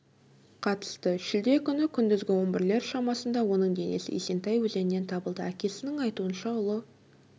қатысты шілде күні күндізгі он бірлер шамасында оның денесі есентай өзенінен табылды әкесінің айтуынша ұлы